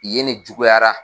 ye nen juguyara.